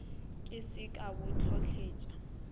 ke se ka bo hlotletša